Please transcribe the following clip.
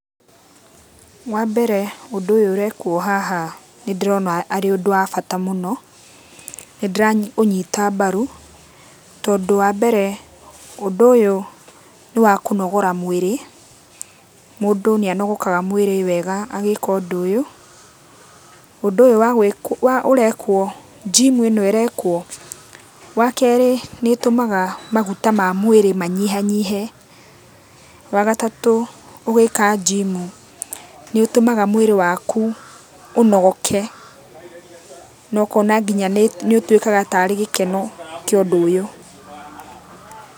Wambere ũndũ ũyũ ũrekwo haha nĩndĩrona arĩ ũndũ wa bata mũno, nĩndĩraũnyita mbaru, tondũ wambere ũndũ ũyũ nĩwakũnogora mwĩrĩ. Mũndũ nĩanogokaga mwĩrĩ wega agĩka ũndũ ũyũ. Ũndũ ũyũ wagwĩ ũrekwo jimu ĩno ĩrekwo, wakerĩ nĩĩtũmaga maguta ma mwĩrĩ manyihanyihe. Wagatatũ ũgĩka jimu nĩũtũmaga mwĩrĩ waku ũnogoke, na ũkona kinya nĩũtuĩkaga tarĩ gĩkeno kĩa ũndũ ũyũ.